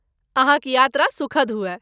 अहाँक यात्रा सुखद हुअय।